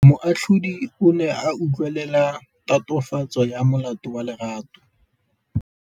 Moatlhodi o ne a utlwelela tatofatsô ya molato wa Lerato.